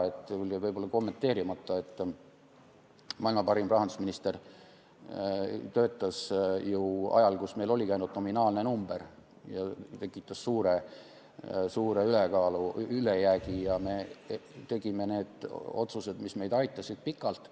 Mul jäi võib-olla kommenteerimata, et maailma parim rahandusminister töötas ju ajal, kui meil oligi ainult nominaalne number, see tekitas suure ülejäägi ja me tegime otsuseid, mis aitasid meid pikalt.